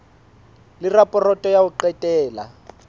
le raporoto ya ho qetela